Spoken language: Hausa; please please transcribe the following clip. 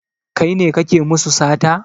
Kai ne kake musu sata?